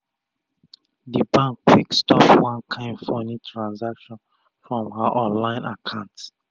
d bank quick stop one kain funi transaction from her online akant